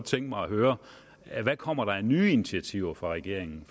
tænke mig at høre hvad kommer der af nye initiativer fra regeringen